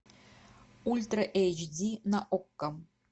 ультра эйч ди на окко